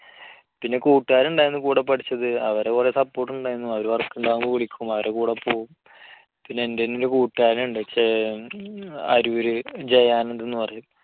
പിന്നെ കൂട്ടുകാർ ഉണ്ടായിരുന്നു കൂടെ കൂടെ പഠിച്ചത്. അവരുടെ കുറെ support ഉണ്ടായിരുന്നു. അവർ work ഉണ്ടാകുമ്പോൾ വിളിക്കും, അവരുടെ കൂടെ പോകും. പിന്നെ എൻറെ തന്നെ ഒരു കൂട്ടുകാരൻ ഉണ്ട്. അരൂര്. ജയാനന്ദ് എന്ന് പറയും.